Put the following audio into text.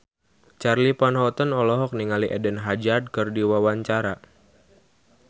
Charly Van Houten olohok ningali Eden Hazard keur diwawancara